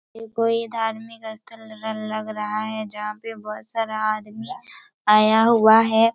ये कोई धार्मिक अस्थल ल लग रहा है जहाँ पर बहुत सारा आदमी आया हुआ है।